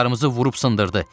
Qayıqlarımızı vurub sındırdı.